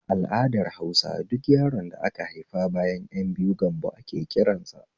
A al'adar Hausa duk yaron da ka haifa bayan ƴan biyu gambo ake kiransa